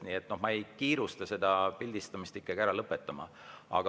Nii et ma ikkagi ei kiirustaks pildistamist päris ära lõpetama.